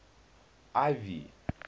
ivy